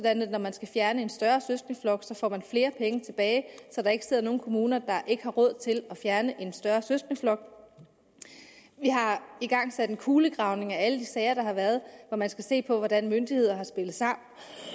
at når man skal fjerne en større søskendeflok får man flere penge tilbage så der ikke sidder nogen kommuner der ikke har råd til at fjerne en større søskendeflok vi har igangsat en kulegravning af alle de sager der har været hvor man skal se på hvordan myndigheder har spillet sammen